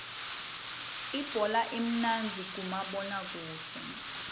ibhola imnandzi kumabona kudze